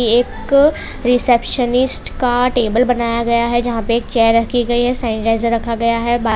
एक रिसेप्शनिस्ट का टेबल बनाया गया है जहां पे चेयर रखी गई है सैनिटाइजर रखा गया है।